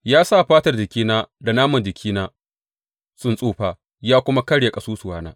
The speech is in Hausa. Ya sa fatar jikina da naman jikina sun tsufa ya kuma karya ƙasusuwana.